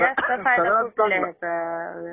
जास्त फायदा कुठल्या ह्याचा?